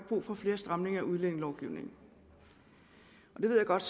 brug for flere stramninger af udlændingelovgivningen jeg ved godt